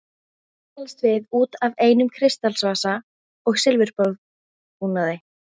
Ekki talast við út af einum kristalsvasa og silfurborðbúnaði.